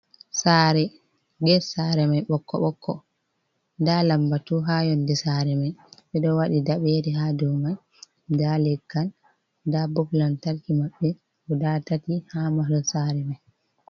Sare, get sare mai ɓokko ɓokko, nda lambatu ha yonde sare mai ɓeɗo waɗi daɓere ha dou mai, nda legal, nda bop lamtarki maɓɓe guda tati ha mahol sare mai.